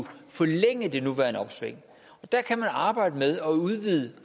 forlænge det nuværende opsving der kan man arbejde med at udvide